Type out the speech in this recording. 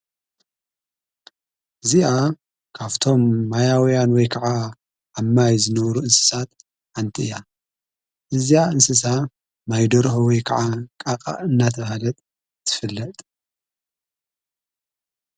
እዚኣ ካፍቶም ማያውያንወይ ከዓ ኣማይ ዝነበሩ እንስሳት ኣንቲ እያ እዚኣ እንስሳ ማይዶርኅወይ ከዓ ቃቓ እናተ ውሃለጥ ትፍለጥ።